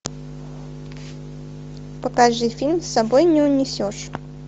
покажи фильм с собой не унесешь